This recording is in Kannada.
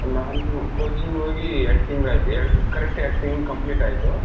ನಾನು coaching ಹೋಗಿ ಎರಡು ತಿಂಗಳಾಯ್ತು ಎರಡ್ correct ಎರಡು ತಿಂಗಳು complete ಆಯ್ತು.